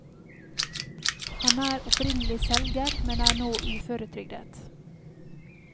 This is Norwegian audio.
Han er opprinnelig selger, men er nå uføretrygdet.